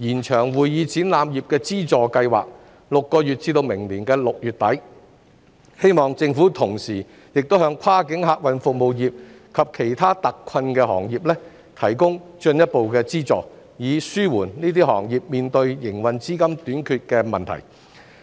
而延長會議展覽業資助計劃6個月至明年6月底，我希望政府同時亦向跨境客運服務業及其他特困行業提供進一步資助，以紓緩該等行業面對營運資金短缺的問題。